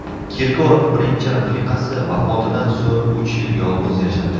Kirkorov birinchi rafiqasi vafotidan so‘ng uch yil yolg‘iz yashadi.